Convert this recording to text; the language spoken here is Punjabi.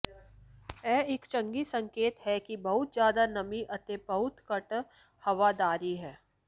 ਇਹ ਇੱਕ ਚੰਗੀ ਸੰਕੇਤ ਹੈ ਕਿ ਬਹੁਤ ਜ਼ਿਆਦਾ ਨਮੀ ਅਤੇ ਬਹੁਤ ਘੱਟ ਹਵਾਦਾਰੀ ਹੈ